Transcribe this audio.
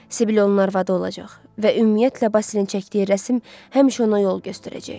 Sibil onun arvadı olacaq və ümumiyyətlə Basilin çəkdiyi rəsm həmişə ona yol göstərəcək.